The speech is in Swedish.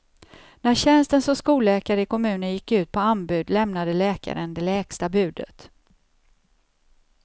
När tjänsten som skolläkare i kommunen gick ut på anbud lämnade läkaren det lägsta budet.